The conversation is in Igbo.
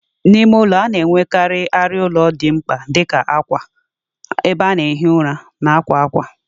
Ụlọ ime ụlọ a na-ahụkarị na-enwekarị arịa ụlọ dị mkpa dị ka akwa, ebe a na-ehi ụra, na akwa akwa.